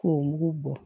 K'o mugu bɔ